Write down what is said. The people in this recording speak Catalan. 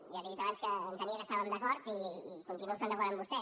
ja li he dit abans que entenia que estàvem d’acord i continuo estant d’acord amb vostè